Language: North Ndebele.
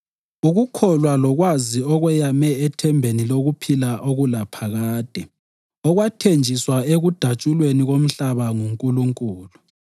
ukukholwa lokwazi okweyame ethembeni lokuphila okulaphakade okwathenjiswa ekudatshulweni komhlaba nguNkulunkulu